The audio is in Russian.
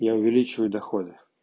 я увеличиваю доходы